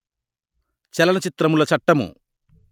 చలన చిత్రముల చట్టము